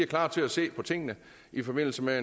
klar til at se på tingene i forbindelse med